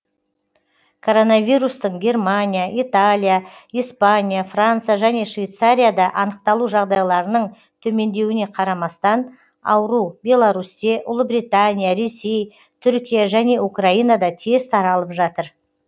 коронавирустың германия италия испания франция және швейцарияда анықталу жағдайларының төмендеуіне қарамастан ауру беларусьте ұлыбритания ресей түркия және украинада тез таралып жатыр